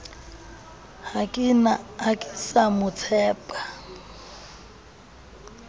ha ke sa mo tshepa